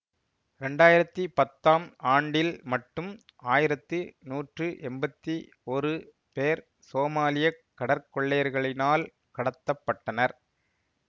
இரண்டாயிரத்தி பத்தாம் ஆண்டில் மட்டும் ஆயிரத்தி நூற்று எம்பத்தி ஒரு பேர் சோமாலிய கடற்கொள்ளையர்களினால் கடத்த பட்டனர்